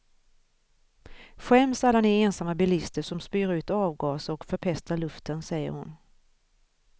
Skäms alla ni ensamma bilister, som spyr ut avgaser och förpestar luften, säger hon.